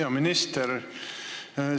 Hea minister!